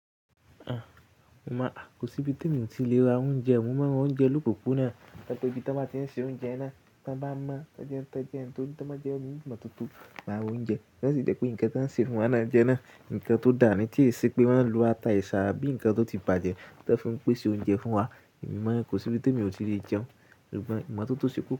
Kò sí ibi tí mi ò ti lè ra oúnjẹ, mo máa ń ra oúnjẹ lopopona, to ba jẹ ibi tí wọ́n bá tí ń ṣe oúnjẹ iná, tí wọ́n bá ń mọ́ tí wọ́n bá jẹ oní mọ̀ tótó maa ra oúnjẹ. Wọ́n sì jẹ pé nǹkan tí wọ́n ṣe fún wa náà jẹ́ naa, ǹkan tó dà ní tí ẹ ṣe pé wọ́n ń lo ata èṣà abí ǹkan tó ti bàjẹ́ tí wọ́n fún pèsè oúnjẹ fún wa. Ìgbayen kò sí ibi tí emi ò ti lè jẹun, ìmọ̀ tó tó ṣe koko.